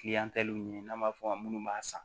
ɲini n'an b'a fɔ a ma munnu b'a san